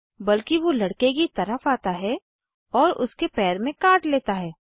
बल्कि वो लड़के की तरफ आता है और उसके पैर में काट लेता है